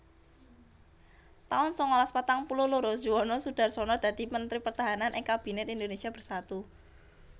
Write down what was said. taun sangalas patang puluh loro Juwono Sudarsono dadi Mentri Pertahanan ing Kabinet Indonésia Bersatu